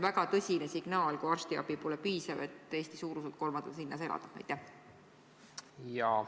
Aga see, kui arstiabi pole piisav, on väga tõsine signaal, et Eesti suuruselt kolmandas linnas mitte elada.